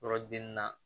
Yɔrɔ den na